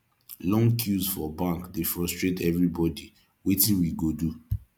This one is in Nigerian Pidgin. long queues for bank dey frustrate everybody wetin we go do